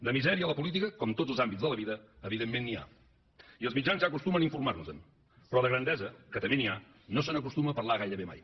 de misèria a la política com en tots els àmbits de la vida evidentment n’hi ha i els mitjans ja acostumen a informar nos en però de grandesa que també n’hi ha no se n’acostuma a parlar gairebé mai